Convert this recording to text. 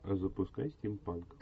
запускай стимпанк